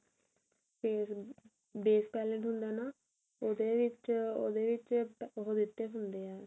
base ਨੂੰ base paled ਹੁੰਦਾ ਨਾ ਉਹਦੇ ਵਿੱਚ ਉਹਦੇ ਵਿੱਚ ਉਹ ਦਿੱਤੇ ਹੁੰਦੇ ਏ